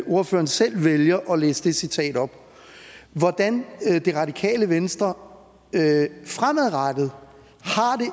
ordføreren selv vælger at læse det citat op hvordan det radikale venstre fremadrettet